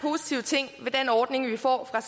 er den ordning vi får fra